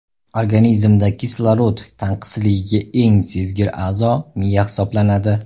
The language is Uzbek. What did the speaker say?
Organizmda kislorod tanqisligiga eng sezgir a’zo miya hisoblanadi.